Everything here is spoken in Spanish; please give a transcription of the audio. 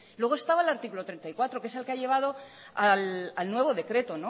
luego estaba el artículo treinta y cuatro que es el que ha llevado al nuevo decreto